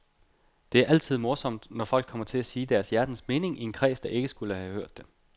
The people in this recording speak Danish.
Det er altid morsomt, når folk kommer til at sige deres hjertens mening i en kreds, der ikke skulle have hørt det.